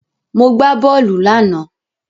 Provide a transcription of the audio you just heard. Mo gbà bóòlù lánàá.